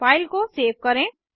file को save करें